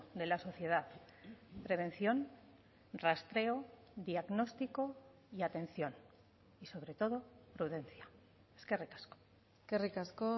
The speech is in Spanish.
de la sociedad prevención rastreo diagnóstico y atención y sobre todo prudencia eskerrik asko eskerrik asko